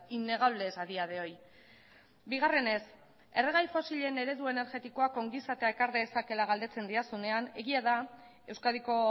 innegables a día de hoy bigarrenez erregai fosilen eredu energetikoak ongizatea ekar dezakeela galdetzen didazunean egia da euskadiko